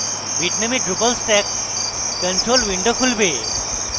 bitnami drupal stack control window খুলবে